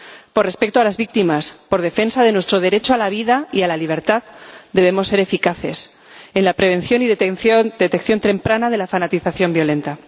Por respeto a las víctimas, por defensa de nuestro derecho a la vida y a la libertad, debemos ser eficaces en la prevención y detección temprana de la fanatización violenta.